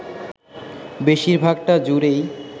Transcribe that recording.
বেশিরভাগটা জুড়েই